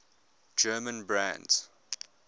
german brands